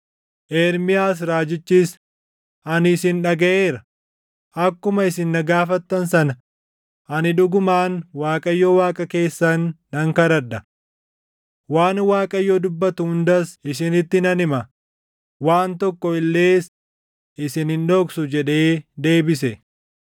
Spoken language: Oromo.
Ermiyaas raajichis, “Ani isin dhagaʼeera; akkuma isin na gaafattan sana ani dhugumaan Waaqayyo Waaqa keessan nan kadhadha. Waan Waaqayyo dubbatu hundas isinitti nan hima; waan tokko illees isin hin dhoksu” jedhee deebise.